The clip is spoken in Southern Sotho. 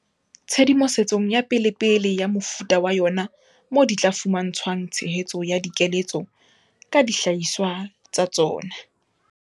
Tshedimo setsong ya pelepele ya mofuta wa yona moo di tla fuma ntshwang tshehetso ya dikeletso ka dihlahiswa tsa tsona.